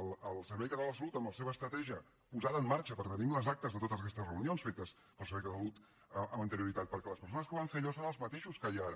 el servei català de la salut en la seva estratègia posada en marxa perquè tenim les actes de totes aquestes reunions fetes pel servei català de la salut amb anterioritat perquè les persones que van fer allò són les mateixes que hi ha ara